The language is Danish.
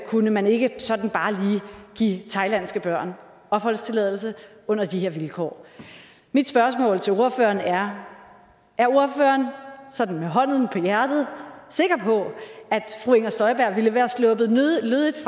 kunne man ikke sådan bare lige give thailandske børn opholdstilladelse under de her vilkår mit spørgsmål til ordføreren er er ordføreren sådan med hånden på hjertet sikker på at fru inger støjberg ville være sluppet lødigt